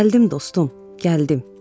Gəldim dostum, gəldim.